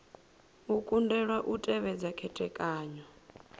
u kundelwa u tevhedza khethekanyo